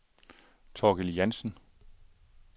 Thorkild Jansen